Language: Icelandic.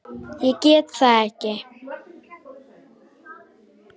Ég get það ekki!